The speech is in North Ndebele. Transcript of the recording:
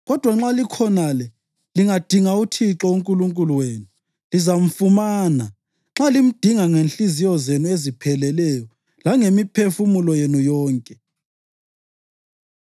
Kodwa nxa likhonale lingadinga uThixo uNkulunkulu wenu, lizamfumana nxa limdinga ngezinhliziyo zenu ezipheleleyo langemiphefumulo yenu yonke.